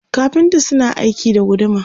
kafinta suna aiki da guduma